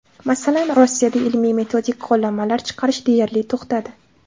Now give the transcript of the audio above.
Masalan, Rossiyada ilmiy-metodik qo‘llanmalar chiqarish deyarli to‘xtadi.